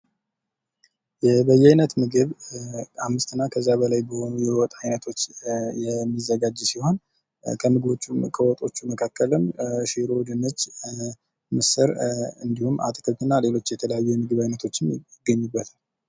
የበየአይነት ምግብ ከአምስት እና ከዚያ በላይ በሆኑ የዎጥ አይነቶች የሚዘጋጅ ሲሆን ከወጦቹ መካከልም ሽሮ፣ ድንች፣ ምስር እንዲሁም አትክልትና ሊሎች የተለያዩ የምግብ አይነቶች የሚገኙበት ነው።